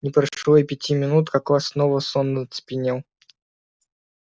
не прошло и пяти минут как класс снова сонно оцепенел